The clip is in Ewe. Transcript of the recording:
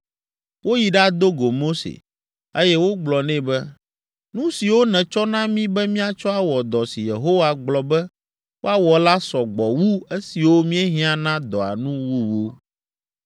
Woyi ɖado go Mose, eye wogblɔ nɛ be, “Nu siwo nètsɔ na mí be míatsɔ awɔ dɔ si Yehowa gblɔ be woawɔ la sɔ gbɔ wu esiwo míehiã na dɔa nu wuwu!”